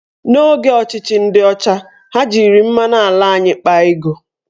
N'oge ọchịchị ndị ọcha, ha jiri mmanụ ala anyị akpa ego